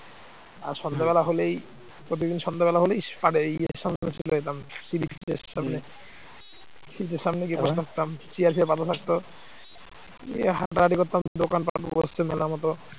দিয়ে হাটাহাটি করতাম দোকানপাট বসছে মেলার মত